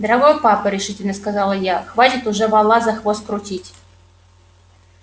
дорогой папа решительно сказала я хватит уже вола за хвост крутить